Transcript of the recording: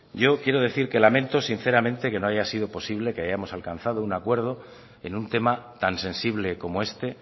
yo quiero decir que lamento sinceramente que no haya sido posible que hayamos alcanzado un acuerdo en un tema tan sensible como este